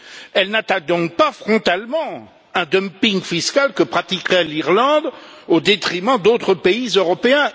Elle n'attaque donc pas frontalement un dumping fiscal que pratiquerait l'Irlande au détriment d'autres pays européens.